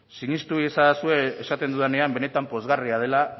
sinistu iezadazue esaten dudanean benetan pozgarria dela